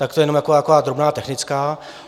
Tak to jenom taková drobná technická.